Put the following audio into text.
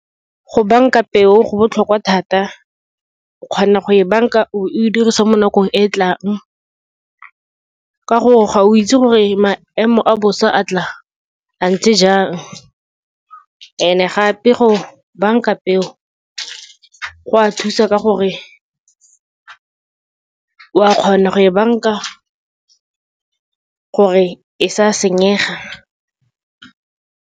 Go banka peo go botlhokwa thata. O kgona go e banka o bo e dirisa mo nakong e tlang, ka gore ga o itse gore maemo a bosa a tla a ntse jang, and-e gape go banka peo go a thusa ka gore, o a kgona go e banka gore e sa senyega.